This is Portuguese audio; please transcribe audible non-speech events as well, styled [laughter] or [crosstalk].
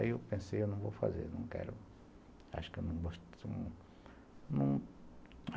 Aí, eu pensei, eu não vou fazer, não quero. Acho [unintelligible]